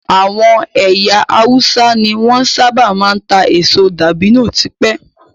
Àwọn ẹyà Hausa ní wọn sábà máa ń ta èso dabino tipẹ́